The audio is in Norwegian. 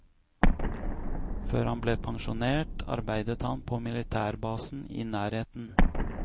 Før han ble pensjonert, arbeidet han på militærbasen i nærheten.